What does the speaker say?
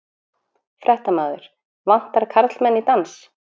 Fréttamaður: Vantar karlmenn í dans?